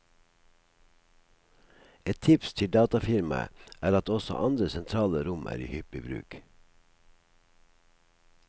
Et tips til datafirmaet er at også andre sentrale rom er i hyppig bruk.